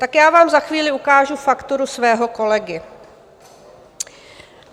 Tak já vám za chvíli ukážu fakturu svého kolegy.